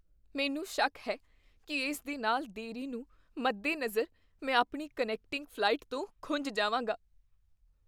ਮੈਨੂੰ ਸ਼ੱਕ ਹੈ ਕੀ ਇਸ ਦੇ ਨਾਲ ਦੇਰੀ ਨੂੰ ਮੱਦੇਨਜ਼ਰ ਮੈਂ ਆਪਣੀ ਕਨੈਕਟਿੰਗ ਫ਼ਲਾਈਟ ਤੋਂ ਖੁੰਝ ਜਾਵਾਂਗਾ।